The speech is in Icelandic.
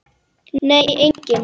Nei, enginn